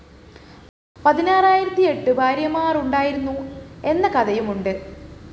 പതിനാറായിരത്തിയെട്ട് ഭാര്യമാരുണ്ടായിരുന്നു എന്ന കഥയുമുണ്ട്